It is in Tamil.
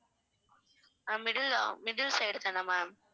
ஆஹ் middle ஆ middle side தானா ma'am